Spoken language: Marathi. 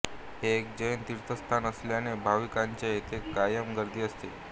हे एक जैन तीर्थस्थान असल्याने भाविकांची येथे कायम गर्दी असते